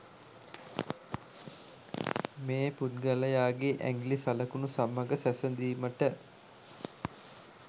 මේ පුද්ගලයාගේ ඇඟිලි සලකුණු සමග සැසඳීමට